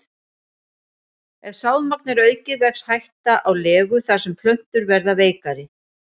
Ef sáðmagn er aukið vex hætta á legu þar sem plöntur verða veikari.